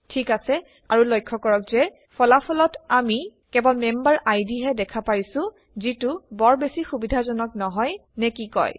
ঠিক আছে আৰু লক্ষ্য কৰক যে ফলাফলত আমি কেৱল মেম্বাৰ আইডিহে দেখা পাইছোঁ যিটো বৰ বেছি সুবিধাজনক নহয় নে কি কয়